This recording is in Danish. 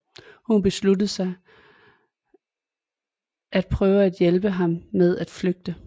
Hun beslutter sig at prøve at hjælpe ham med at flygte